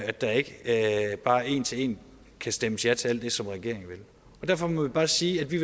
at der ikke bare en til en kan stemmes ja til alt det som regeringen vil derfor må vi bare sige at vi